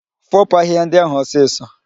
Foopu ahịhịa ndị ahụ ọsịsọ!